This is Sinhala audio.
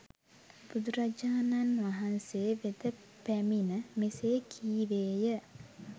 බුදුරජාණන් වහන්සේ වෙත පැමිණ මෙසේ කීවේය